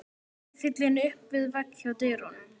Riffillinn upp við vegg hjá dyrunum.